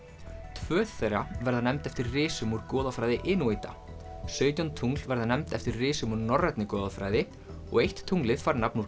tvö þeirra verða nefnd eftir risum úr goðafræði Inúíta sautján tungl verða nefnd eftir risum úr norrænni goðafræði og eitt tunglið fær nafn úr